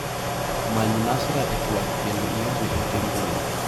Many Nasra e twak kendo iorne ote mbui.